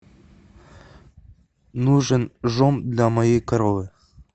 нужен жом для моей коровы